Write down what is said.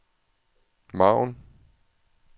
margen